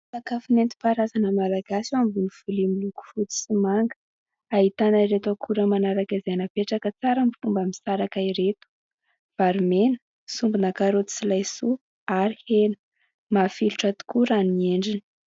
Sakafo nentim-paharazana malagasy eo ambonin'ny lovia miloko fotsy sy manga, ahitana ireto akora manaraka izay napetraka tsara tsy mba misaraka ireto : vary mena, sombina karaoty sy laisoa ary hena. Mafilotra tokoa raha ny endriny.